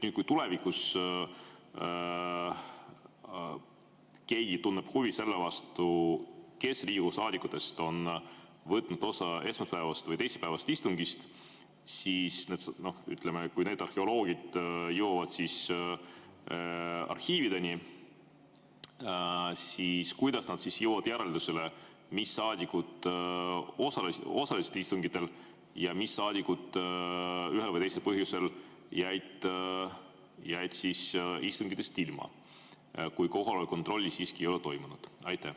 Kui tulevikus keegi tunneb selle vastu huvi, kes Riigikogu saadikutest võtsid osa esmaspäevasest või teisipäevasest istungist, siis kui need arheoloogid jõuavad arhiivideni, kuidas nad jõuavad järeldusele, mis saadikud osalesid istungitel ja mis saadikud jäid ühel või teisel põhjusel istungitest ilma, kui kohaloleku kontrolli ei ole toimunud?